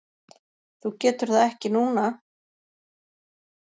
Þú getur það ekki núna?